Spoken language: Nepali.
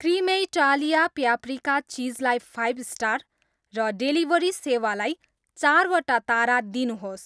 क्रिमेइटालिया प्यापरिका चिज लाई फाइभ स्टार र डेलिभरी सेवालाई चारवटा तारा दिनुहोस्